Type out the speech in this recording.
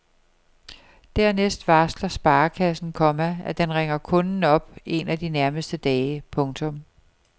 Dernæst varsler sparekassen, komma at den ringer kunden op en af de nærmeste dage. punktum